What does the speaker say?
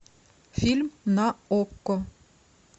фильм на окко